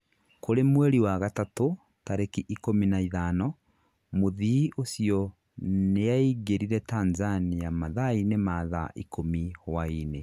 Kũrĩ mweri wa gatatũ, tarĩki ikũmi na ithano, mũthii ũcio nĩaingĩrire Tanzania mathaa-inĩ ma thaa ikumi hwaini